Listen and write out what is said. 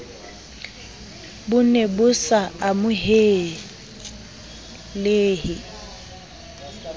bo ne bo sa amohelehe